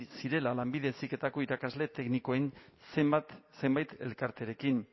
zirela lanbide heziketako irakasle teknikoen zenbait elkarterekin